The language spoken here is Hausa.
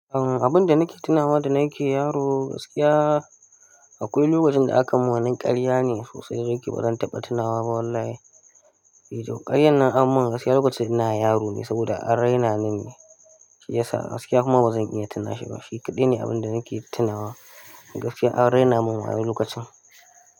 Abun da nake tunawa da na ke yaro, gaskiya akwai lokacin da aka mun wani ƙarya ne sosai, sosai da yake bazan taɓa tunawa ba wallahi. Ih, to ƙaryan nan an mun gaskiya lokacin ina yaro ne saboda an raina ni ne shi ya sa gaskiya kuma bazan iya tuna shi ba. Shi kaɗai ne abun da nake tunawa gaskiya an raina mun wayau lokacin.